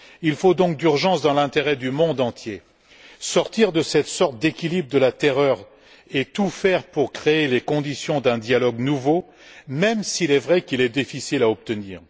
Il faut donc d'urgence, dans l'intérêt du monde entier, sortir de cette sorte d'équilibre de la terreur et tout faire pour créer les conditions d'un dialogue nouveau, même s'il est vrai qu'il est difficile à obtenir.